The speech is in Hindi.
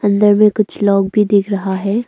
अंदर में कुछ लोग भी दिख रहा है।